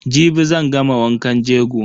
Jibi zan gama wankan jego.